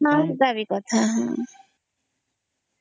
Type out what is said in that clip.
ବୁଝି ପାରିଲି କଥା